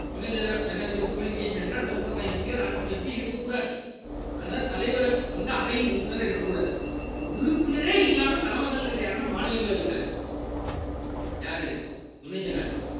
துணை ஜனாதிபதியோட qualification என்ன லோக்சபா MP யோ ராஜ்ய சபா MP யோ இருக்கக்கூடாது அதனால தலைவர் வந்து அவையின் உறுப்பினரா இருக்கக் கூடாது அப்ப உறுப்பினரே இல்லாம தலைமை தாங்குறது யாருன்னா மாநிலங்களவை தலைவர் யாரு துணை ஜனாதிபதி